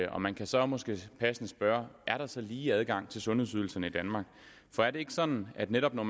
og man kan så måske passende spørge er der så lige adgang til sundhedsydelserne i danmark for er det ikke sådan at netop når